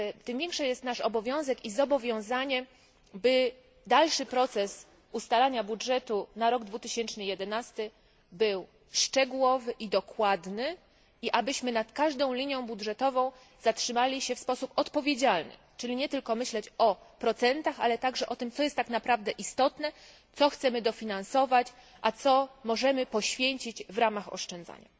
Tym większy jest nasz obowiązek, by dalszy proces ustalania budżetu na rok 2011 był szczegółowy i dokładny i abyśmy nad każdą linią budżetową zatrzymali się w sposób odpowiedzialny, czyli nie tylko myśląc o procentach, ale też o tym, co jest istotne, co chcemy dofinansować, a co możemy poświęcić w ramach oszczędzania.